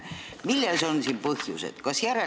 Mis on siin põhjused?